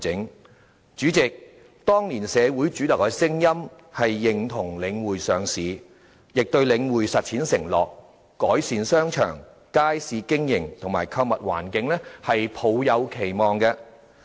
代理主席，當年社會主流的聲音是認同領匯上市，亦對領匯實踐其就改善商場、街市經營和購物環境所作出的承諾抱有期望。